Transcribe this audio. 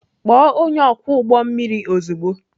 Kpọọ onye ọkwọ ụgbọ mmiri ozugbo!